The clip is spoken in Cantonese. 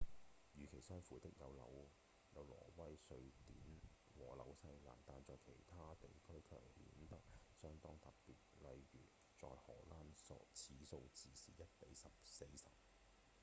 與其相符的有挪威、瑞典和紐西蘭但在其他地區卻顯得相當特別例如：在荷蘭此數字是1比40